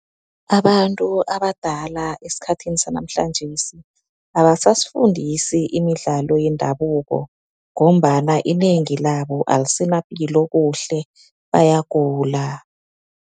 Abantu abadala esikhathini sanamhlanjesi abasasifundisi imidlalo yendabuko, ngombana inengi labo alisenapilo kuhle bayagula.